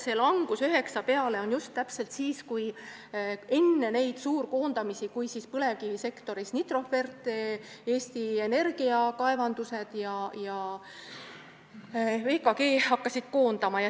Näete, langus 9% peale toimus just täpselt enne suurkoondamisi, enne seda, kui põlevkivisektoris hakkasid Nitrofert, Eesti Energia kaevandused ja VKG koondama.